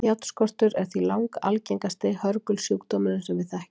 Járnskortur er því langalgengasti hörgulsjúkdómurinn sem við þekkjum.